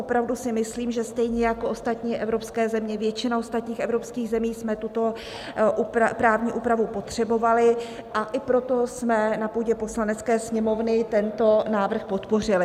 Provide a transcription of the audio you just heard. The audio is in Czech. Opravdu si myslím, že stejně jako ostatní evropské země, většina ostatních evropských zemí, jsme tuto právní úpravu potřebovali, a i proto jsme na půdě Poslanecké sněmovny tento návrh podpořili.